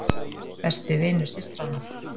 Besti vinur systranna!